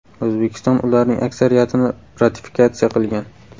O‘zbekiston ularning aksariyatini ratifikatsiya qilgan.